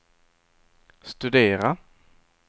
studera